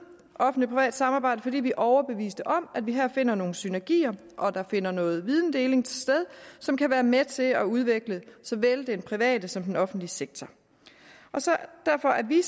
offentlig privat samarbejde fordi vi er overbeviste om at vi her finder nogle synergier og der finder noget videndeling sted som kan være med til at udvikle såvel den private som den offentlige sektor derfor er vi